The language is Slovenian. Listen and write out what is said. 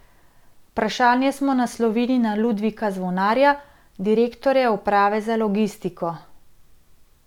Vprašanje smo naslovili na Ludvika Zvonarja, direktorja uprave za logistiko.